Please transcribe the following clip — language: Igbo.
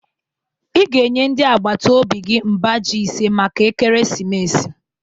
Ị ga-enye ndị agbata obi gị mba ji ise maka ekeresimesi